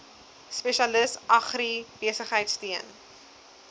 spesialis agribesigheid steun